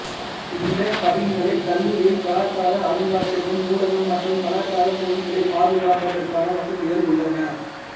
இந்த கவின்கலைக் கல்லூரியில் கலாச்சார அருங்காட்சியகம் நூலகம் மற்றும் கலாச்சார பொருட்களைப் பாதுகாப்பதற்கான வசதிகள் உள்ளன